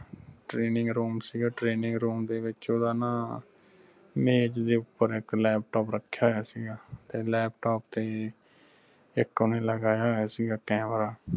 training room ਸੀਗਾ training room ਦੇ ਵਿਚ ਓਹਦਾ ਨਾ ਮੇਜ ਦੇ ਉਪਰ ਇਕ laptop ਰੱਖਿਆਹੋਇਆ ਸੀ ਗਾ ਤੇ laptop ਤੇ ਇਕ ਓਹਨੇ ਲਗਾਇਆ ਹੋਇਆ ਸੀਗਾ camera